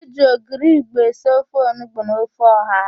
E ji ogiri igbo esi ofe onugbo na ofe ọha.